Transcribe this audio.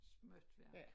Småtværk